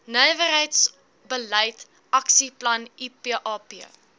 nywerheidsbeleid aksieplan ipap